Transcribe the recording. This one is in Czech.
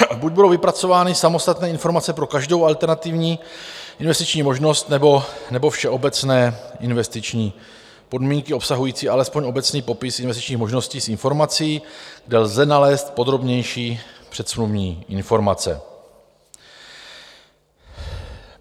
Buď budou vypracovány samostatné informace pro každou alternativní investiční možnost, nebo všeobecné investiční podmínky obsahující alespoň obecný popis investičních možností s informací, kde lze nalézt podrobnější předsmluvní informace.